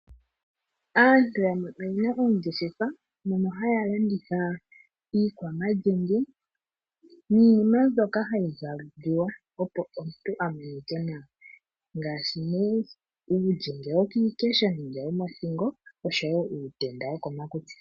Aantu yamwe oyena oongeshefa mono hayalanditha iikwama lyenge niinima ndjoka hayi zaliwa opo omuntu amonike nawa, ngaashi nee uulyenge wokiikesho nenge womothingo oshowo uutenda wo komakutsi.